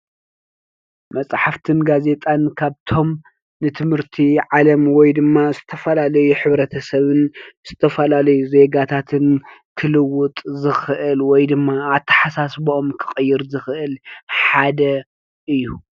መፅሓፍትን ጋዜጣን ካብቶም ንትምህርቲ ዓለም ወይ ድማ ዝተፈላለዩ ሕብተሰብን ዝተፈላለዩ ዜጋታት ክልውጥ ዝኽእል አተሓሳስቦኦም ክቅይር ዝኽእል ሓደ እዩ።